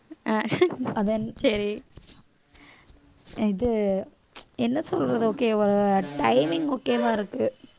அதானே இது என்ன சொல்றது okay ஒரு timing okay வா இருக்கு